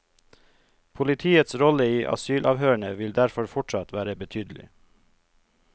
Politiets rolle i asylavhørene vil derfor fortsatt være betydelig.